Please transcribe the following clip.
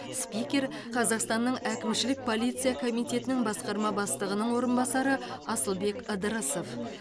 спикер қазақстанның әкімшілік полиция комитетінің басқарма бастығының орынбасары асылбек ыдырысов